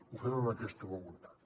ho fem amb aquesta voluntat